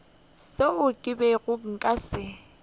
seo ke bego nka se